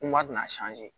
Kuma dun